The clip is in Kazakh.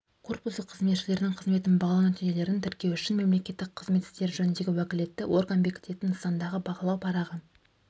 корпусы қызметшілерінің қызметін бағалау нәтижелерін тіркеу үшін мемлекеттік қызмет істері жөніндегі уәкілетті орган бекітетін нысандағы бағалау парағы